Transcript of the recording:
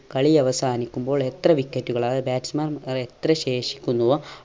കളിയവസാനിക്കുമ്പോൾ എത്ര wicket കൾ അതായത് batsman എത്ര ശേഷിക്കുന്നുവോ